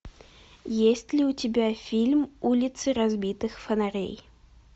есть ли у тебя фильм улицы разбитых фонарей